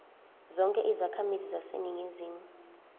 zonke izakhamizi zaseningizimu